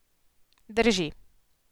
Drži.